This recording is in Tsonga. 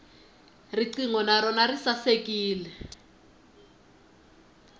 riqingho na rona ri sasekile